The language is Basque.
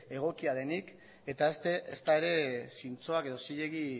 egokia denik eta ezta ere zintzoak edo zilegi